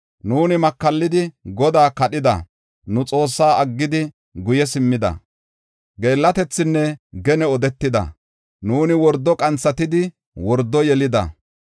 Nuuni makallidi, Godaa kadhida; nu Xoossaa aggidi guye simmida. Geellatethinne gene odetida; nuuni wordo qanthatidi wordo yelida.